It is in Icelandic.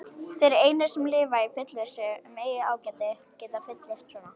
Þeir einir, sem lifa í fullvissu um eigið ágæti, geta fullyrt svona.